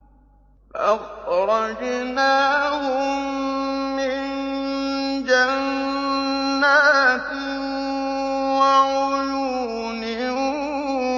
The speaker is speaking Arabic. فَأَخْرَجْنَاهُم مِّن جَنَّاتٍ وَعُيُونٍ